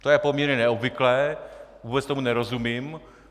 To je poměrně neobvyklé, vůbec tomu nerozumím.